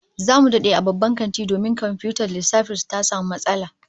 Zamu dade a bban kantin domin komfiyutar lissafin su ta samu matsala